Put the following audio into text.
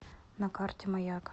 на карте маяк